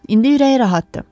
İndi ürəyi rahatdır.